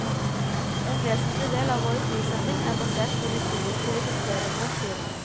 En vesentlig del av vår prissetting er basert på de subjektive kriteriene, sier han.